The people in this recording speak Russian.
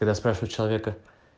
когда спрашивают человека